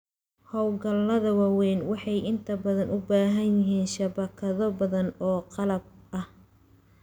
Hawlgallada waaweyn waxay inta badan u baahan yihiin shabakado badan oo qalab ah.